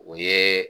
O ye